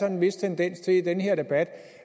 en vis tendens til i den her debat